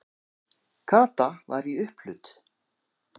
Kata var í upphlut.